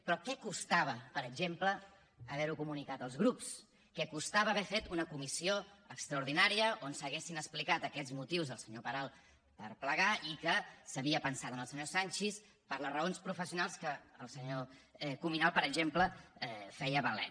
però què costava per exemple haver ho comunicat als grups què costava haver fet una comissió extraordinària on s’haguessin explicat aquests motius del senyor peral per haver plegat i que s’havia pensat en el senyor sanchis per les raons professionals que el senyor cuminal per exemple feia valer